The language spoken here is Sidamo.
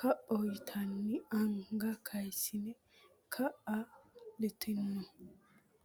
kaphoho yitinanni anga kayissine kaa litanno.